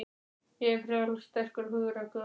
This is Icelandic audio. Ég er frjáls, sterkur og hugrakkur.